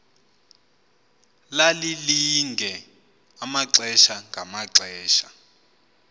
lalilinge amaxesha ngamaxesha